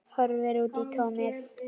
Kyssi bara.